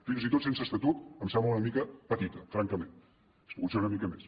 fins i tot sense estatut em sembla una mica petita francament hauria pogut ser una mica més